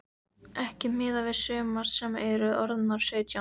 Ekki miðað við sumar sem eru orðnar sautján.